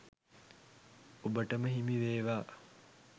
ඔබටම හිමි වේවා.